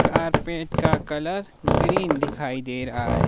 Carpet का colour green दिखाई दे रहा है।